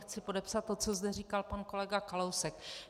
Chci podepsat to, co zde říkal pan kolega Kalousek.